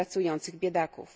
pracujących biedaków.